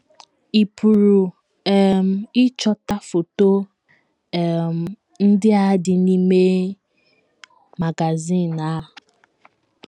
Ị̀ pụrụ um ịchọta foto um ndị a dị a dị n’ime magazin a?